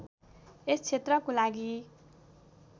यस क्षेत्रको लागि